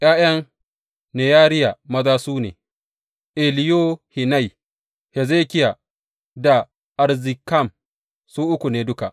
’Ya’yan Neyariya maza su ne, Eliyohenai, Hezekiya da Azrikam, su uku ne duka.